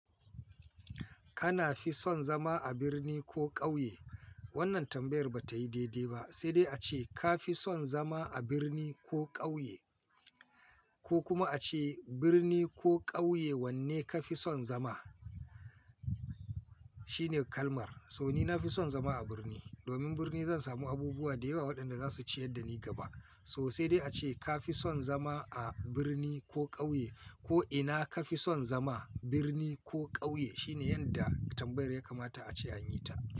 Kana fi son zama a birni ko ƙauye? Wannan tambayar ba ta yi daidai ba, sai dai a ce ka fi son zama a birni ko ƙauye? Ko kuma a ce birni ko ƙauye wanne ka fi son zama? Shine kalmar. So ni na fi son zama a birni. Domin birni zan samu abubuwa da yawa waɗanda za su ciyar da ni gaba. To sai dai a ce ka fi son zama a birni ko ƙauye? Ko ina ka fi son zama birni ko ƙauye? Shine yanda tambayar ya kamata a ce an yi ta.